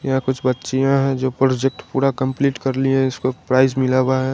यहाँ कुछ बच्चियाँ है जो प्रोजेक्ट पूड़ा कम्पलीट कर ली हैं इसको प्राइज मिला हुआ है।